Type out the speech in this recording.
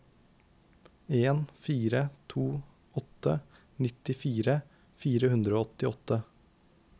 en fire to åtte nittifire fire hundre og åttiåtte